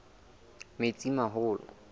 metsimaholo